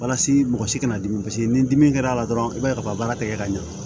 Walasa mɔgɔ si kana dimi paseke ni dimi kɛra a la dɔrɔn i b'a ye ka baara tɛgɛ ka ɲɛ